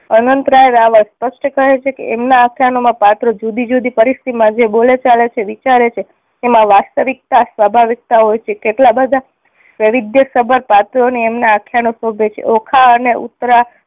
અનંત રાય રાવલ સ્પષ્ટ કહે છે કે એમના આખ્યાનોમાં પાત્ર જુદી જુદી પરિસ્થિતિ માં જે બોલેચાલે છે વિચારે છે એમાં વાસ્તવિકતા સ્વાભાવિક્તા હોય છે કેટલા બધા વૈવિધ્ય સભર પાત્રો ને એમના આખ્યાનો શોભે છે. ઓખા અને ઉતરા